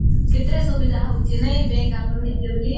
କେତେ ସୁବିଧା ହଉଚି ନାଇଁ bank ଆମର ହେଇଛେ ବୋଲି